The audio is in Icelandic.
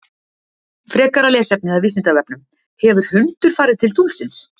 Frekara lesefni af Vísindavefnum: Hefur hundur farið til tunglsins?